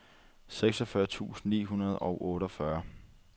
seksogfyrre tusind ni hundrede og otteogfyrre